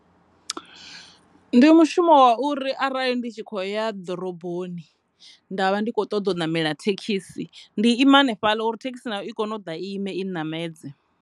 Ndi mushumoni wa uri arali ndi tshi kho ya ḓoroboni nda vha ndi kho ṱoḓa u namela thekhisi ndi ima hanefhaḽa uri thekhisi nayo i kone u ḓa i ime i namedze.